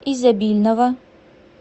изобильного